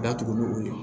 Datugu ni o ye